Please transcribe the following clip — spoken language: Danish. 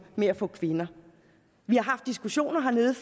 med at få kvinder vi har haft diskussioner hernede